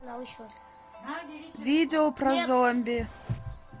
видео про зомби